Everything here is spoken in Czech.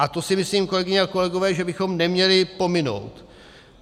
A to si myslím, kolegyně a kolegové, že bychom neměli pominout.